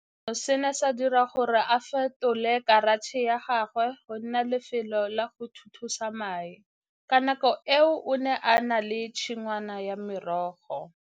Seno se ne sa dira gore a fetole karatšhe ya gagwe go nna lefelo la go thuthusa mae. Ka nako eo o ne a na le tshingwana ya merogo.